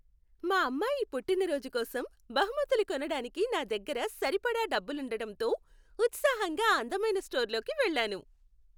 మా అమ్మాయి పుట్టినరోజు కోసం బహుమతులు కొనడానికి నా దగ్గర సరిపడా డబ్బులుండటంతో, ఉత్సాహంగా ఆ అందమైన స్టోర్లోకి వెళ్ళాను.